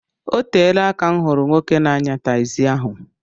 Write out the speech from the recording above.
Oteela aka m hụrụ nwoke n'anya takzi ahụ.